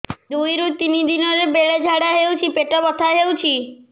ଦୁଇରୁ ତିନି ଦିନରେ ବେଳେ ଝାଡ଼ା ହେଉଛି ପେଟ ବଥା ହେଉଛି